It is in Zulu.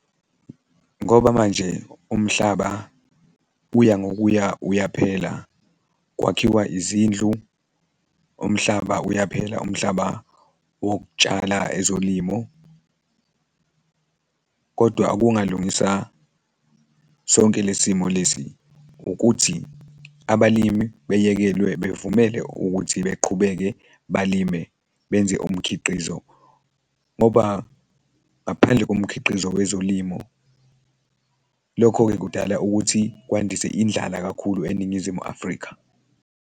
Ngoba manje umhlaba uya ngokuya uyaphela kwakhiwa izindlu, umhlaba uyaphela, umhlaba wokutshala ezolimo, kodwa okungalungisa sonke lesi simo lesi ukuthi abalimi beyekelwe bavumele ukuthi beqhubeke balime benze umkhiqizo ngoba ngaphandle komkhiqizo wezolimo, lokho-ke kudala ukuthi kwandise indlala kakhulu eNingizimu Afrika.